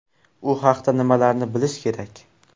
U haqda nimalarni bilish kerak?.